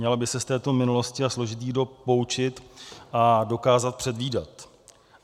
Měla by se z této minulosti a složitých dob poučit a dokázat předvídat.